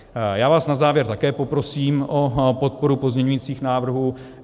Já vás na závěr také poprosím o podporu pozměňujících návrhů.